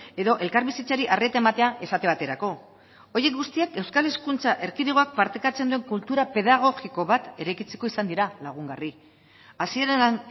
edo elkarbizitzari arreta ematea esate baterako horiek guztiak euskal hezkuntza erkidegoak partekatzen duen kultura pedagogiko bat eraikitzeko izan dira lagungarri hasieran